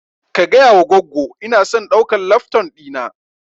Ka gayawa goggo inason ɗaukan lafton ɗina